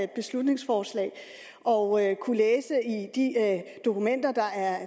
beslutningsforslag og kunne læse de dokumenter der er